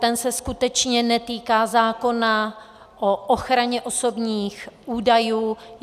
Ten se skutečně netýká zákona o ochraně osobních údajů.